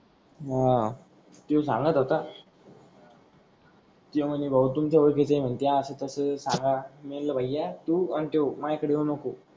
हा त्यो सांगत होत रला त्यो मन्हे भाऊ तुमचा ओडखीच आहे मन्ते आस तस सांगा मी मनल भया तू आण त्यो माझा येऊ नको.